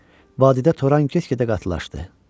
Vadidə turan get-gedə qatılaşdı.